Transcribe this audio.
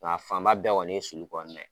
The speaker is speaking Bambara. Nga a fan ba bɛɛ kɔni ye sulu kɔnɔ na ye.